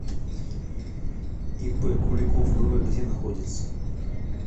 ип куликов вв где находится